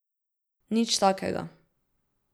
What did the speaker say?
Nič takega.